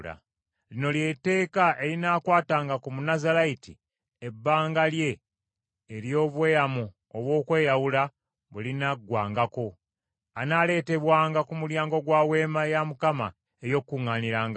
“Lino ly’etteeka erinaakwatanga ku Munnazaalayiti ebbanga lye ery’obweyamo obw’okweyawula bwe linaggwangako. Anaaleetebwanga ku mulyango gwa Weema ey’Okukuŋŋaanirangamu.